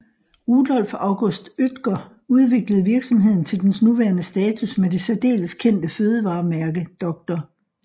Rudolf August Oetker udviklede virksomheden til dens nuværende status med det særdeles kendt fødevaremærke Dr